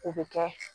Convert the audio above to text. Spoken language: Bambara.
O bɛ kɛ